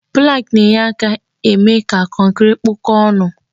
Pụlank na-enye aka eme ka kọnkri kpụkọ ọnụ.